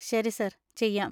ശരി സാർ ചെയ്യാം.